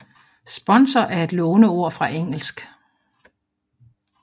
Sponsor er et låneord fra engelsk